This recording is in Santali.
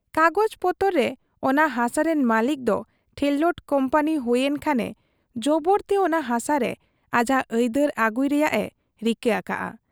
ᱠᱟᱜᱚᱡᱽ ᱯᱚᱛᱚᱨ ᱨᱮ ᱚᱱᱟ ᱦᱟᱥᱟ ᱨᱤᱱ ᱢᱟᱹᱞᱤᱠ ᱫᱚ ᱴᱷᱮᱨᱞᱟᱴ ᱠᱩᱢᱯᱟᱹᱱᱤ ᱦᱩᱭ ᱮᱱ ᱠᱷᱟᱱᱮ ᱡᱚᱵᱚᱨᱛᱮ ᱚᱱᱟ ᱦᱟᱥᱟ ᱨᱮ ᱟᱡᱟᱜ ᱟᱹᱭᱫᱟᱹᱨ ᱟᱹᱜᱩᱭ ᱨᱮᱭᱟᱜ ᱮ ᱨᱤᱠᱟᱹ ᱟᱠᱟᱜ ᱟ ᱾